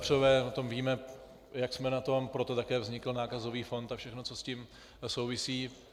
Vepřové, o tom víme, jak jsme na tom, proto také vznikl nákazový fond a všechno, co s tím souvisí.